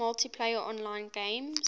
multiplayer online games